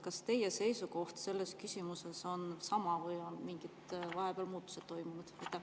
Kas teie seisukoht selles küsimuses on sama või on vahepeal mingid muutused toimunud?